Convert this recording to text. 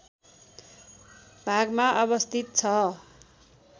भागमा अवस्थित छ